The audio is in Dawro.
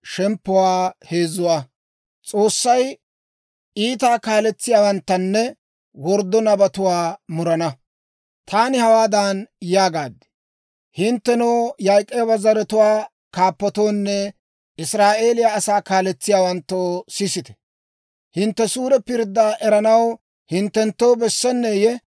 Taani hawaadan yaagaad; «Hinttenoo, Yaak'ooba zaratuwaa kaappatoonne Israa'eeliyaa asaa kaaletsiyaawanttoo, sisite! Hintte suure pirddaa eranaw hinttenttoo bessenneeyye?